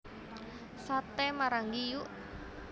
Saté Maranggi Yukk